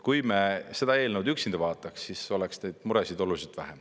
Kui me seda eelnõu üksinda vaataks, siis oleks neid muresid oluliselt vähem.